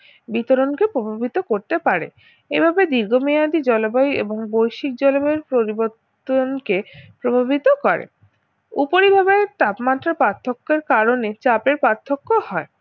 বিতরণকে প্রভাবিত করতে পারে এভাবে দীর্ঘমেয়াদি জলবায়ু এবং বৈশ্বিক জলবায়ু পরিবর্তন কে প্রভাবিত করে উপরিভাবে তাপমাত্রার পার্থককের কারণে চাপের পার্থ্যক হয়